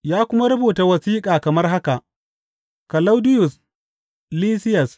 Ya kuma rubuta wasiƙa kamar haka, Kalaudiyus Lisiyas.